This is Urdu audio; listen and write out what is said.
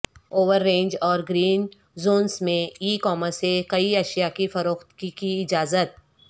اورینج اور گرین زونس میں ای کامرس سے کئی اشیاء کی فروخت کی اجازت